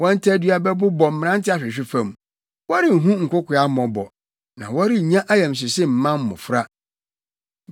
Wɔn tadua bɛbobɔ mmerante ahwehwe fam; wɔrenhu nkokoaa mmɔbɔ na wɔrennya ayamhyehye mma mmofra.